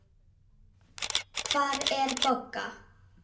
Hvar er Bogga?